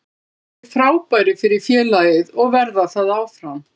Þeir hafa verið frábærir fyrir félagið og verða það áfram.